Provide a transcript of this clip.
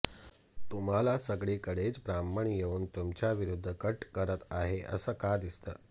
तुम्हाला सगळीकडेच ब्राह्मण येऊन तुमच्याविरुद्ध कट करत आहेत असं का दिसतं